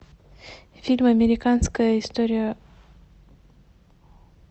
фильм американская история